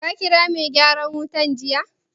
Ka ƙira mai gyaran wutar jiya?